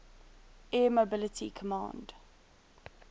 air mobility command